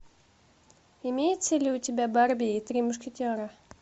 имеется ли у тебя барби и три мушкетера